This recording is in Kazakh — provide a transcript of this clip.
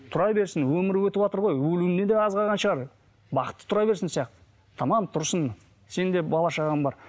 тұра берсін өмірі өтіватыр ғой өлуіне де аз қалған шығар бақытты тұра берсін сияқты тамам тұрсын сенің де бала шағаң бар